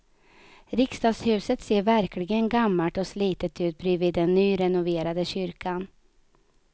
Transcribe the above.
Riksdagshuset ser verkligen gammalt och slitet ut bredvid den nyrenoverade kyrkan.